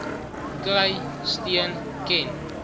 kry steun ken